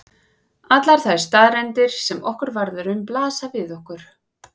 Allar þær staðreyndir sem okkur varðar um blasa við okkur.